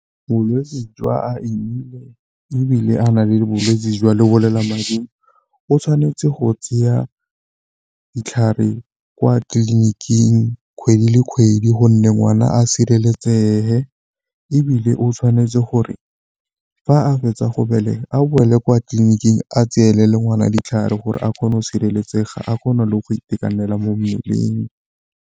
Bolwetse jwa ebile a na le bolwetsi jwa lebolelamading o tshwanetse go tsaya ditlhare kwa tleliniking kgwedi le kgwedi gonne ngwana a sireletsege, ebile o tshwanetse gore fa a fetsa go belega a boele kwa tleliniking a tseye le le ngwana ditlhare gore a kgone go sireletsega a kgona le go itekanela mo mmeleng.